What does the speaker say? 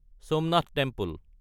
Somnath temple